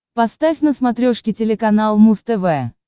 поставь на смотрешке телеканал муз тв